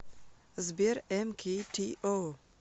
сбер эмкитио